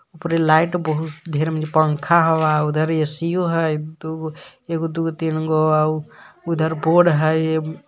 ओपरे light बहु-से ढेर में पंखा हउवा उधर ए_सी ओ है दुगो एगो दुगो तीन गो अउर उधर बोर्ड है .